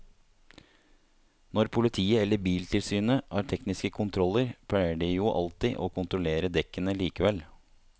Når politiet eller biltilsynet har tekniske kontroller pleier de jo alltid å kontrollere dekkene likevel.